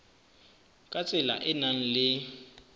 ka tsela e nang le